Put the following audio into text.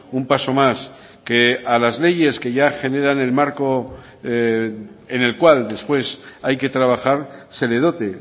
un paso más que a las leyes que ya generan el marco en el cual después hay que trabajar se le dote